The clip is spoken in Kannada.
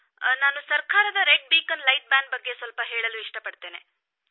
ನಾನು ಸರ್ಕಾರ ಕೆಂಪು ದೀಪ ರದ್ದು ಮಾಡಿದ ಬಗ್ಗೆ ಸ್ವಲ್ಪ ಹೇಳಲು ಇಷ್ಟ ಪಡುತ್ತೇನೆ